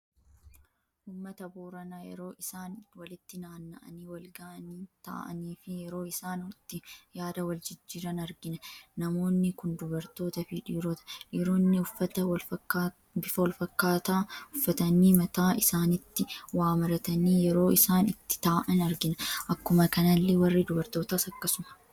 Uummata boorana yeroo isaan walitti naanna'aani walga'ii taa'aanii fi yeroo isaan itti yaada wal jijjiiran argina. Namoonni kun dubartootaa fi dhiiroota. dhiiroonni uffata bifa wal fakkata uffatani mataa isaanittis waa maratani yeroo isaan itti taa'aan argina. Akkuma kanallee warri dubartootas akkasuma.